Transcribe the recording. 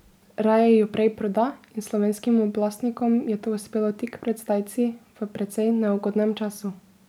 Raje jo prej proda in slovenskim oblastnikom je to uspelo tik pred zdajci, v precej neugodnem času.